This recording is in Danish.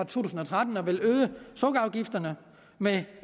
tusind og tretten at ville øge sukkerafgifterne med